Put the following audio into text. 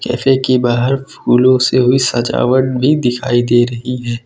Cafe की बहार फूलों से हुई सजावट भी दिखाई दे रही है।